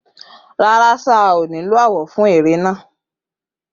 Rara sir, ko si awọ ti a nilo fun ere naa